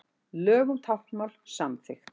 Lög um táknmál samþykkt